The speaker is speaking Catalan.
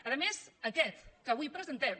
a més aquest que avui presentem